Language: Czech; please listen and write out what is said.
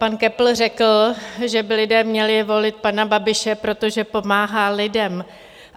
Pan Köppl řekl, že by lidé měli volit pana Babiše, protože pomáhá lidem.